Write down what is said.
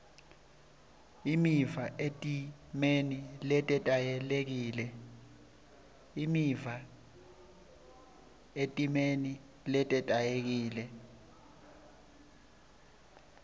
imiva etimeni letetayelekile